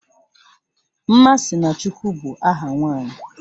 Nmasinachukwu bụ aha nwanyị